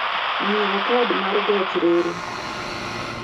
Ng'iewo kad mar gach reru.